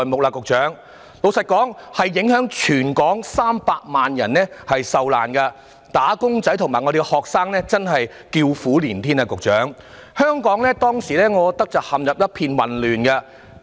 老實說，這次影響了全港300萬人受難，"打工仔"及學生真的叫苦連天，局長，我覺得香港當時真是陷入一片混亂。